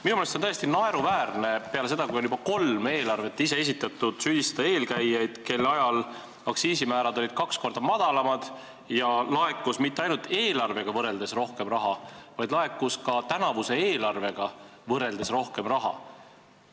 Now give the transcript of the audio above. Minu meelest on täiesti naeruväärne peale seda, kui on juba kolm eelarvet ise esitatud, süüdistada eelkäijaid, kelle ajal aktsiisimäärad olid kaks korda madalamad ja laekus mitte ainult omaaegsete eelarvetega võrreldes rohkem raha, vaid laekus ka tänavuse eelarvega võrreldes rohkem raha.